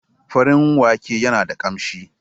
Farin wake yana da kamshi.